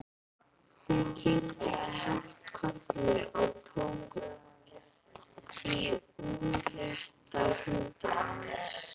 Hún kinkaði hægt kolli og tók í útrétta hönd hans.